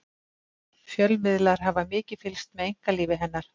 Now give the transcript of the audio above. fjölmiðlar hafa mikið fylgst með einkalífi hennar